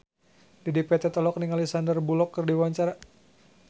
Dedi Petet olohok ningali Sandar Bullock keur diwawancara